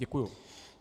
Děkuji.